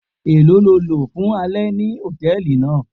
Elo ni o lo fun alẹ ni hòtẹ́ẹ̀lì naa.